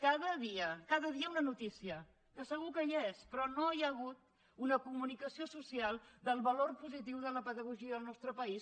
cada dia cada dia una notícia que segur que hi és però no hi ha hagut una comunicació social del valor positiu de la pedagogia al nostre país